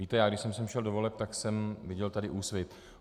Víte, já když jsem sem šel do voleb, tak jsem viděl tady Úsvit.